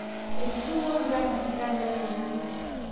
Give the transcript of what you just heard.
Etudung'o njan ngiita leenangan